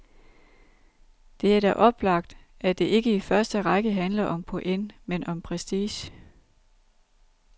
Det er da oplagt, at det ikke i første række handler om point, men om prestige.